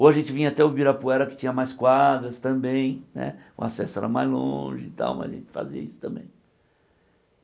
Ou a gente vinha até o Ibirapuera, que tinha mais quadras também né, o acesso era mais longe e tal, mas a gente fazia isso também.